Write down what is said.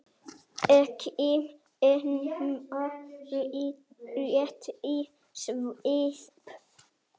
Ekki nema rétt í svip.